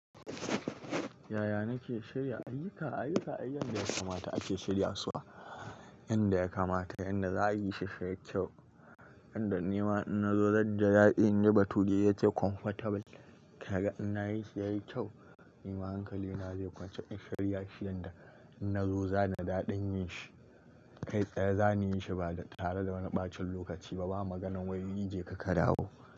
Yaya nake shirya ayyuka? Ayyuka, ai yanda ya kamata ake shirya su wa, yanda ya kamata yanda za a yi shi ya yi kyau. Yanda nima in na zo zai ji daɗi. In ji bature ya ce comfortable. Kaga ina yayi shi yayi kyau, ni ma hankali na zai kwanta. In shirya shi yanda in na zo, zanji daɗin yin shi. Kai tsaye za ni yin shi ba da tare da wani ɓacin lokaci ba. Ba maganar wai je ka ka dawo.